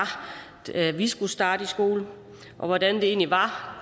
da vi selv skulle starte i skole hvordan det var